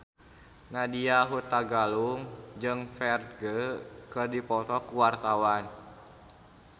Nadya Hutagalung jeung Ferdge keur dipoto ku wartawan